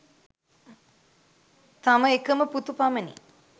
තම එකම පුතු පමණි